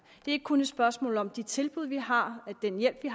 ikke kun et spørgsmål om de tilbud vi har den hjælp vi